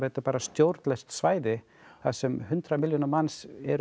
bara stjórnlaust svæði þar sem hundrað milljónir manns